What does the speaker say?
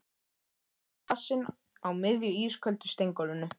Þarna stóð kassinn á miðju ísköldu steingólfinu.